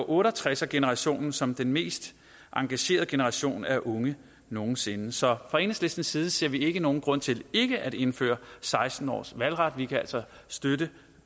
otte og tres generationens som den mest engagerede generation af unge nogen sinde så fra enhedslistens side ser vi ikke nogen grund til ikke at indføre seksten års valgret og vi kan altså støtte